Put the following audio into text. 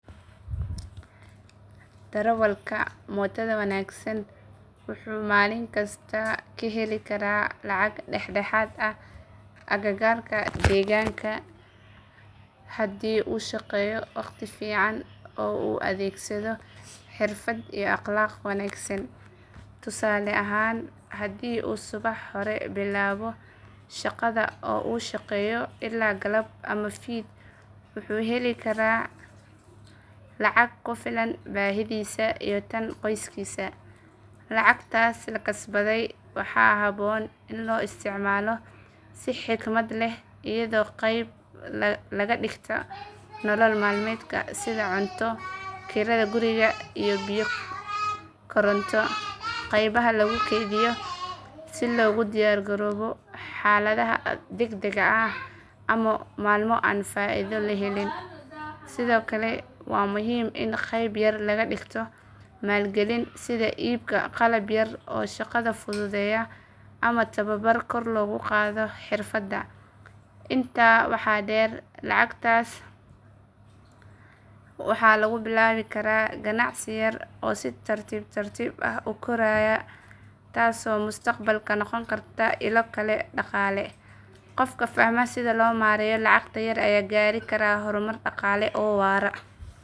Darawalka mootada wanaagsan wuxuu maalinkasta ka heli karaa lacag dhexdhexaad ah agagaarka deegaanka haddii uu shaqeeyo waqti fiican oo uu adeegsado xirfad iyo akhlaaq wanaagsan. Tusaale ahaan haddii uu subax hore bilaabo shaqada oo uu shaqeeyo ilaa galab ama fiid, wuxuu heli karaa lacag ku filan baahidisa iyo tan qoyskiisa. Lacagtaas la kasbaday waxaa habboon in loo isticmaalo si xikmad leh iyadoo qayb laga dhigto nolol maalmeedka sida cunto, kirada guriga, iyo biyo koronto, qaybna lagu keydiyo si loogu diyaargaroobo xaaladaha degdegga ah ama maalmo aan faa’iido la helin. Sidoo kale waa muhiim in qayb yar laga dhigto maalgelin sida iibka qalab yar oo shaqada fududeeya ama tababar kor loogu qaado xirfadda. Intaa waxaa dheer, lacagtaas waxaa lagu bilaabi karaa ganacsi yar oo si tartiib tartiib ah u koraya taasoo mustaqbalka noqon karta ilo kale oo dhaqaale. Qofka fahma sida loo maareeyo lacagta yar ayaa gaari kara horumar dhaqaale oo waara.